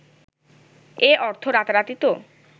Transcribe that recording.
এ অর্থ রাতারাতি তো